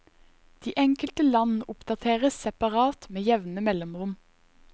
De enkelte land oppdateres separat med jevne mellomrom.